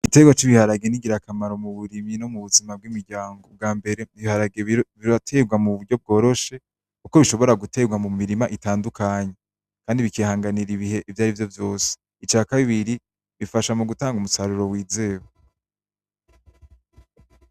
Igitegwa c'ibiharagi ni ngira kamaro mu burimyi no mu buzima bw'imiryango ubwa mbere ibiharagi birategwa muburyo bworoshe kuko bishobora gutegwa mu mirima itandukanye kandi bikihanganira ibihe ivyarivyo vyose ica kabiri bifasha mu gutanga umusaruro w'izewe .